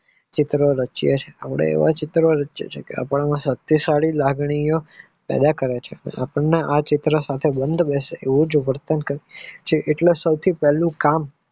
ચિત્ર વચ્ચે લાગણીઓ કાર્ય કરો ચો તેમને આ ચિત્ર બેસે એ જે ઉત્પન્ન એટલે સૌ થી પહેલું કામ